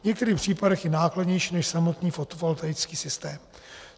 V některých případech i nákladnější než samotný fotovoltaický systém.